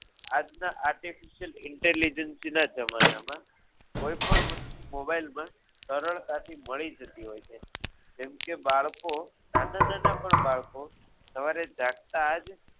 આજના artificial inteligency ના જમાનામાં કોઈ પણ વસ્તુ mobile માં સરળતાથી મળી જતી હોય છે જેમ કે બાળકો નાના પણ બાળકો સવારે જાગતા જ